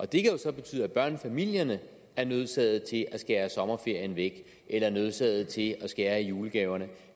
det kan jo så betyde at børnefamilierne er nødsaget til at skære sommerferien væk eller er nødsaget til at skære i julegaverne